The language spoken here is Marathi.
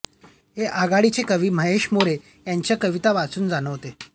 हे आघाडीचे कवी महेश मोरे यांच्या कविता वाचून जाणवते